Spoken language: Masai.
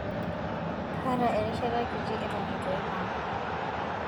kaata erishata kitii eton eitu aipang